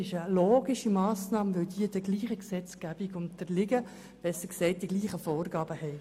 Es ist eine logische Massnahme, weil für diese Personen die gleichen Vorgaben gelten.